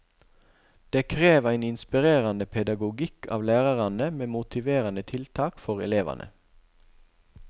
Det krev ein inspirerande pedagogikk av lærarane med motiveranda tiltak for elevane.